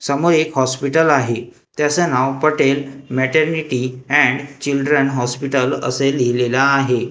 समोर एक हॉस्पिटल आहे ज्याचं नाव Patel maternity and children hospital असे लिहिलेलं आहे.